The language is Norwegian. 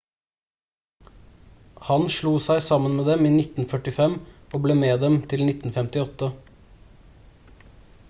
han slo seg sammen med dem i 1945 og ble med dem til 1958